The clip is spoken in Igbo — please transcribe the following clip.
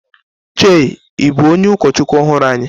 Chei, ị bụ onye ụkọchukwu ọhụrụ anyị?